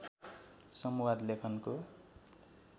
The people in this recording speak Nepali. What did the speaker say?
संवाद लेखनको